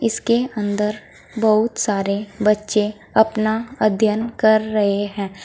इसके अंदर बहुत सारे बच्चे अपना अध्ययन कर रहे हैं।